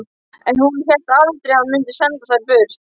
En hún hélt aldrei að hann mundi senda þær burt.